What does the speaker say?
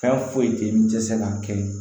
Fɛn foyi tɛ ye n tɛ se ka kelen